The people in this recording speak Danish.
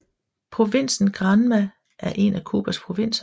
Provinsen Granma er en af Cubas provinser